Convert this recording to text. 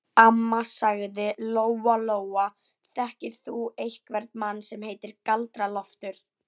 Amma, sagði Lóa Lóa, þekkir þú einhvern mann sem heitir Galdra-Loftur?